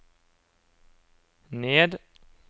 ned